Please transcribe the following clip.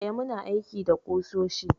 Eh, muna aiki da ƙusoshi.